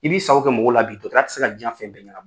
I b'i sago kɛ mɔgɔw la bi dɔtɔrɔya tɛ se ka jiyan fɛn bɛɛ ɲɛna